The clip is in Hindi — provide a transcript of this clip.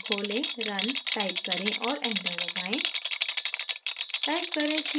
command terminal खोलें run type करें और enter दबाएँ